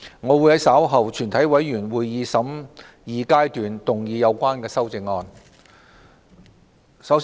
我會在稍後的全體委員會審議階段動議有關修正案。